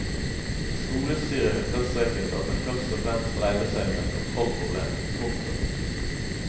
Skolestyret understreket at det først og fremst dreide seg om et kontrollproblem. punktum